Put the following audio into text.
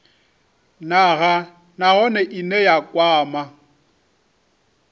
nha nahone ine ya kwama